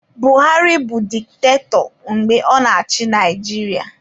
Buhari bụ diktatọ mgbe ọ na-achị Naijiria